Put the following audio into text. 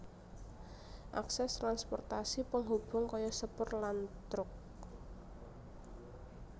Akses transportasi penghubung kaya sepur lan truk